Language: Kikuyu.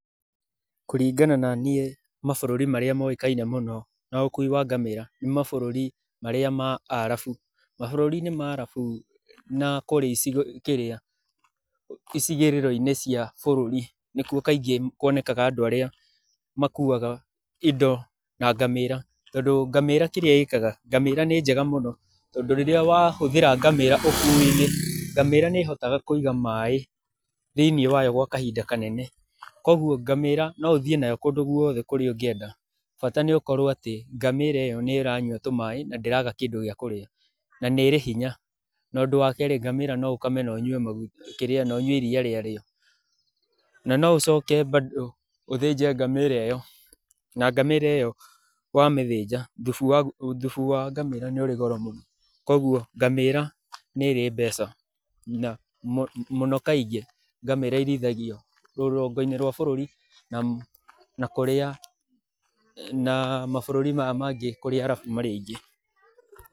Kũringana na niĩ mabũrũri marĩa moĩkaine mũno na ũkui wa ngamĩra nĩ mabũrũri marĩa ma arabu. Mabũrũri ma arabu na kũrĩa icigo-inĩ, kĩrĩa, icigĩrĩra cia bũrũri nĩkuo kaingĩ kwonekaga andũ arĩa makuaga indo na ngamĩra, tondũ ngamĩra kĩrĩa ĩkaga nĩ njega mũno tondũ rĩrĩa wahũthĩra ngamĩra ũkui-inĩ, ngamĩra nĩ hotaga kũiga maĩ thĩinĩ wayo gwa kahinda kanene, kwoguo ngamĩra no ũthiĩ nayo kũndũ gwothe kũrĩa ũngĩenda, bata nĩ atĩ ngamĩra ĩyo nĩranyua tũmaĩ na ndĩraga kĩndũ gĩa kũrĩa, na nĩrĩ hinya, na ũndũ wa kerĩ, ngamĩra no ũkame na ũnyue iria rĩayo, na noũcoke bado ũthĩnje ngamĩra ĩyo, ngamĩra ĩyo wa mĩthĩnja thubu wayo nĩ ũrĩ goro mũno, kwoguo ngamĩra nĩrĩ mbeca na mũno kaingĩ ngamĩra irĩithagio rũgongo-inĩ rwa bũrũri na kũrĩa na mabũrũri marĩa mangĩ kũrĩa arabu marĩ aingĩ.